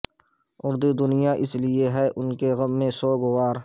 اردو دنیا اس لئے ہے ان کے غم میں سوگوار